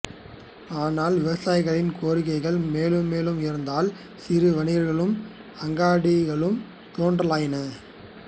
ஆனால் விவசாயிகளின் கோரிக்கைகள் மேலும் மேலும் உயர்ந்ததால் சிறு வணிகர்களும் அங்காடிகளும் தோன்றலாயின